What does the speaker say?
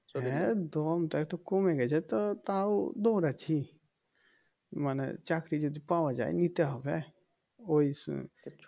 হ্যাঁ দমটা একটু কমে গেছে তাও দৌড়াচ্ছি মানে চাকরি যদি পাওয়া যায় নিতে হবে ওই আহ